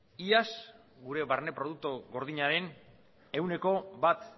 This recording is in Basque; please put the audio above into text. iaz gure barne produktu gordinaren ehuneko bat